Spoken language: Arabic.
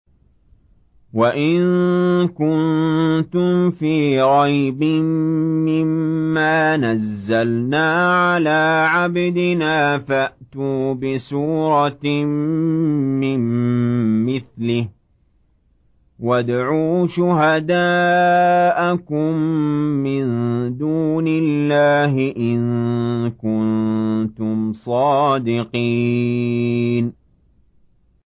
وَإِن كُنتُمْ فِي رَيْبٍ مِّمَّا نَزَّلْنَا عَلَىٰ عَبْدِنَا فَأْتُوا بِسُورَةٍ مِّن مِّثْلِهِ وَادْعُوا شُهَدَاءَكُم مِّن دُونِ اللَّهِ إِن كُنتُمْ صَادِقِينَ